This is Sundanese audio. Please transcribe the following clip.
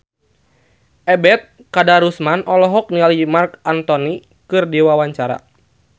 Ebet Kadarusman olohok ningali Marc Anthony keur diwawancara